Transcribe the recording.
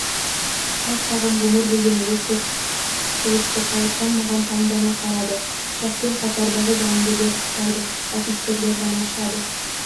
қас-қағым ғұмыр деген осы құтылыпты қайыржан маған таңдана қарады ұшақпен қатардағы жауынгерлер ұшпайды офицерлер ғана ұшады